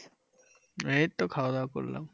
এইতো খাওয়াদাওয়া করলাম।